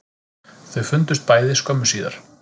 Þau fundust bæði skömmu síðar